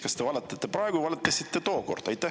Kas te valetate praegu või valetasite tookord?